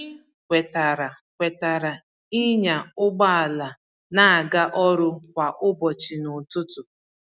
Anyị kwetara kwetara ịnya ụgbọ ala na-aga ọrụ kwa ụbọchị n'ụtụtụ.